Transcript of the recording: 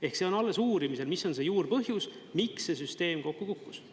Ehk see on alles uurimisel, mis on see juurpõhjus, miks see süsteem kokku kukkus.